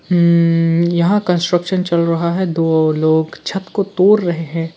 यहां कंस्ट्रक्शन चल रहा है दो लोग छत को तोड़ रहे हैं।